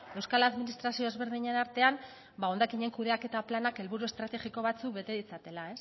euskal administrazio ezberdinen artean hondakinen kudeaketa planak helburu estrategiko batzuk bete ditzatela